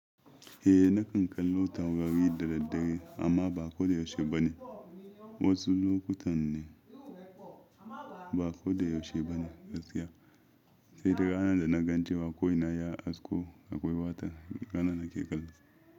Eh nakan kallo taurari da daddare amma ba ko da yaushe ba ne. Wasu lokutan ne ba ko da yaushe ba ne gaskiya. Sai duk ranan da na gan cewa ko ina na ya hasko akwai wata, ranan nake kallo.